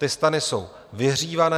Ty stany jsou vyhřívané.